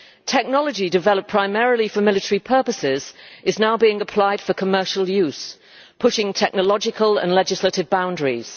Technology developed primarily for military purposes is now being applied for commercial use, pushing technological and legislative boundaries.